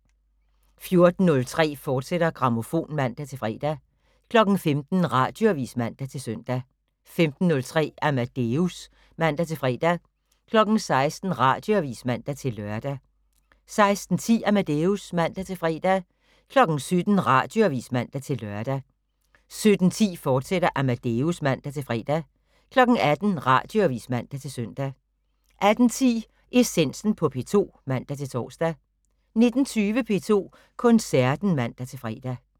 14:03: Grammofon, fortsat (man-fre) 15:00: Radioavis (man-søn) 15:03: Amadeus (man-fre) 16:00: Radioavis (man-lør) 16:10: Amadeus (man-fre) 17:00: Radioavis (man-lør) 17:10: Amadeus, fortsat (man-fre) 18:00: Radioavis (man-søn) 18:10: Essensen på P2 (man-tor) 19:20: P2 Koncerten (man-fre)